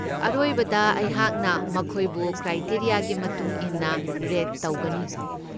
ꯑꯔꯣꯏꯕꯗ ꯑꯩꯍꯥꯛꯅ ꯃꯈꯣꯏꯕꯨ ꯀ꯭ꯔꯥꯏꯇꯦꯔꯤꯌꯥꯒꯤ ꯃꯇꯨꯡ ꯏꯟꯅ ꯔꯦꯠ ꯇꯧꯒꯅꯤ꯫